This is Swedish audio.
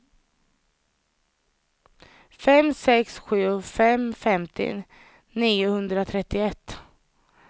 fem sex sju fem femtio niohundratrettioett